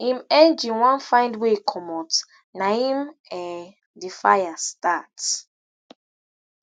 im engine wan find way comot naim um di fire start